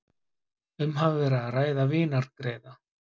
Um hafi verið að ræða vinargreiða